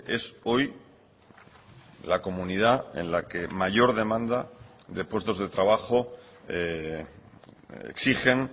es hoy la comunidad en la que mayor demanda de puestos de trabajo exigen